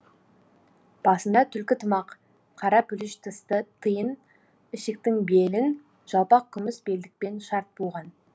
басында түлкі тымақ қара пүліш тысты тиін ішіктің белін жалпақ күміс белдікпен шарт буған